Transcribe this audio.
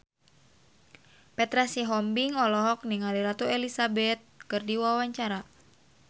Petra Sihombing olohok ningali Ratu Elizabeth keur diwawancara